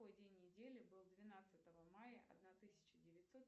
какой день недели был двенадцатого мая одна тысяча девятьсот